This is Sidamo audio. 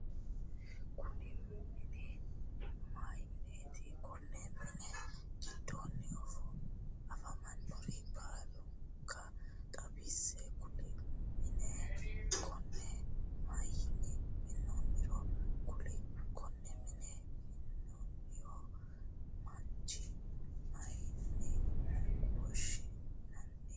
Kunni minni mayi mineeti? Konni minni gidoonni afamanore baalanka xawise kuli? Minne konne mayinni minoonniro kuli? Konne mine mi'nino mancho mayine woshinnanni?